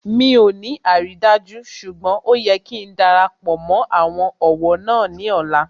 Mi ò ní àrídájú ṣùgbọ́n ó yẹ kí darapọ̀ mó àwọn ọ̀wọ́ náà ní ọ̀la